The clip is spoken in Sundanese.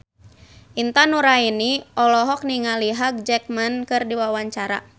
Intan Nuraini olohok ningali Hugh Jackman keur diwawancara